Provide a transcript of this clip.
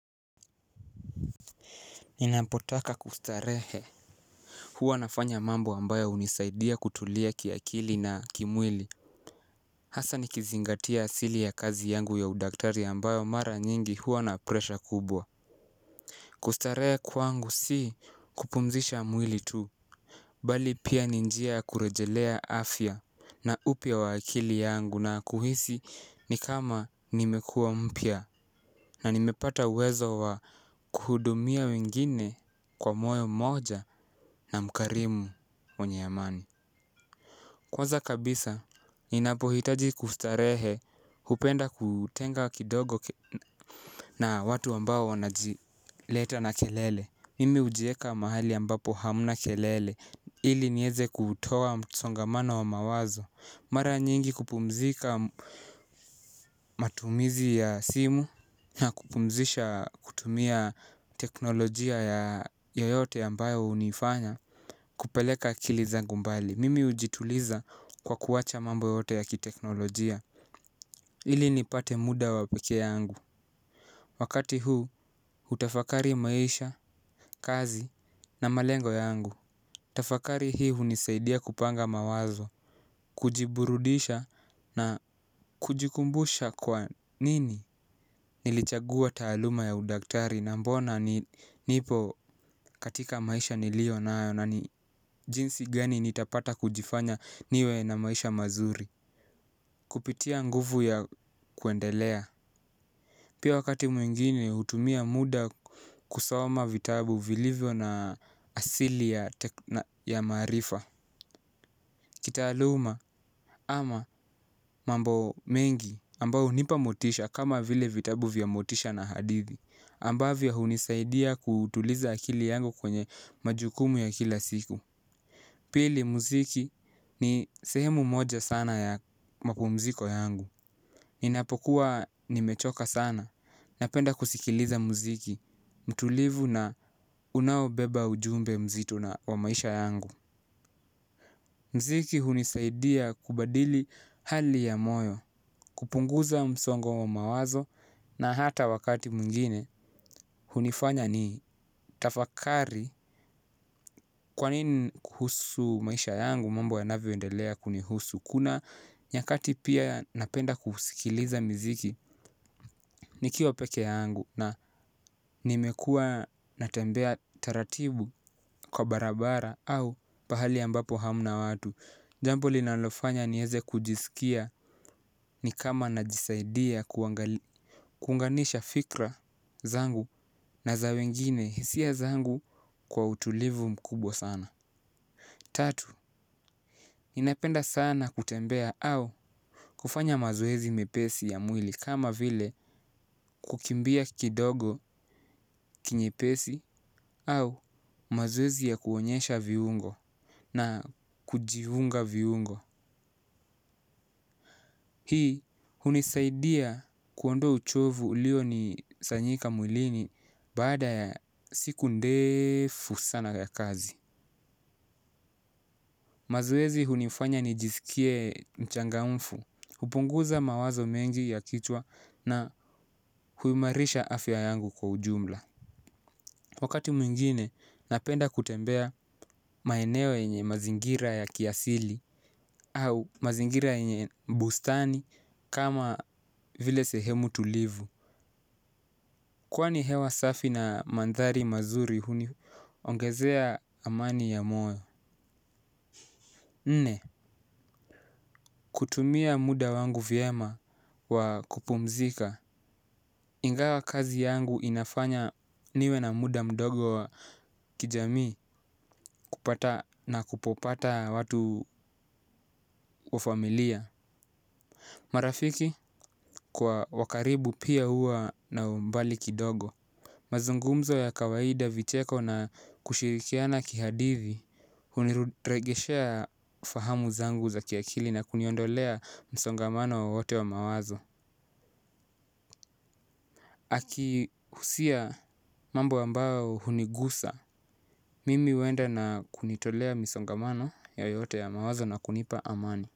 Ninapotaka kustarehe huwa nafanya mambo ambayo hunisaidia kutulia kiakili na kimwili. Hasa nikizingatia asili ya kazi yangu ya udaktari ambayo mara nyingi huwa na presha kubwa. Kustarehe kwangu si kupumzisha mwili tu. Bali pia ni njia ya kurejelea afya na upya wa akili yangu na kuhisi ni kama nimekua mpya na nimepata uwezo wa kuhudumia wengine kwa moyo moja na mkarimu mwenye amani. Kwanza kabisa, ninapohitaji kustarehe hupenda kutenga kidogo na watu ambao wanajileta na kelele. Mimi hujieka mahali ambapo hamna kelele ili nieze kutoa msongamano wa mawazo. Mara nyingi kupumzika matumizi ya simu ya kupumzisha kutumia teknolojia ya yoyote ambayo hunifanya kupeleka akili zangu mbali. Mimi hujituliza kwa kuacha mambo yote ya kiteknolojia ili nipate muda wa peke yangu. Wakati huu hutafakari maisha, kazi na malengo yangu. Tafakari hii hunisaidia kupanga mawazo. Kujiburudisha na kujikumbusha kwa nini nilichagua taaluma ya udaktari na mbona nipo katika maisha niliyo nayo na ni jinsi gani nitapata kujifanya niwe na maish mazuri. Kupitia nguvu ya kuendelea pia wakati mwengine hutumia muda kusoma vitabu vilivyo na asili ya maarifa. Kitaaluma ama mambo mengi ambao hunipa motisha kama vile vitabu vya motisha na hadithi ambavyo hunisaidia kutuliza akili yangu kwenye majukumu ya kila siku. Pili muziki ni sehemu moja sana ya mapumziko yangu. Ninapokuwa nimechoka sana napenda kusikiliza muziki. Mtulivu na unaobeba ujumbe mzito na wa maisha yangu. Mziki hunisaidia kubadili hali ya moyo, kupunguza msongo wa mawazo na hata wakati mwengine. Hunifanya nitafakari kwa nini kuhusu maisha yangu mambo yanavyoendelea kunihusu. Kuna nyakati pia napenda kuusikiliza miziki. Nikiwa peke yangu na nimekua natembea taratibu kwa barabara au pahali ambapo hamna watu. Jambo linalofanya nieze kujisikia ni kama najisaidia kuunganisha fikra zangu na za wengine hisia zangu kwa utulivu mkubwa sana. Tatu, ninapenda sana kutembea au kufanya mazoezi mepesi ya mwili kama vile kukimbia kidogo kinyepesi au mazoezi ya kuonyesha viungo na kujiunga viungo hii hunisaidia kuondoa uchovu ulionisanyika mwilini baada ya siku ndefu ya kazi. Mazoezi hunifanya nijisikie mchangamfu, hupunguza mawazo mengi ya kichwa na huimarisha afya yangu kwa ujumla. Wakati mwingine napenda kutembea maenewo yenye mazingira ya kiasili au mazingira yenye bustani kama vile sehemu tulivu. Kwani hewa safi na manthari mazuri huniongezea amani ya moyo. Nne kutumia muda wangu vyema wa kupumzika. Ingawa kazi yangu inafanya niwe na muda mdogo wa kijamii kupata na kupopata watu wa familia marafiki kwa wa karibu pia huwa na umbali kidogo mazungumzi ya kawaida vicheko na kushirikiana kihadithi. Huniregeshea fahamu zangu za kiakili na kuniondolea msongamano wowote wa mawazo. Akihusia mambo ambayo hunigusa mimi huenda na kunitolea msongamano yayote ya mawazo na kunipa amani.